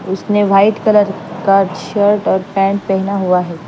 उसने white colour का shirt और पेंट पहना हुआ है।